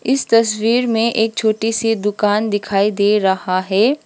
इस तस्वीर में एक छोटी सी दुकान दिखाई दे रहा है।